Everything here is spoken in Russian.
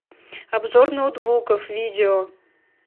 обзор ноутбуков видео